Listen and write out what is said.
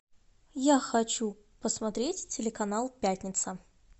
я хочу посмотреть телеканал пятница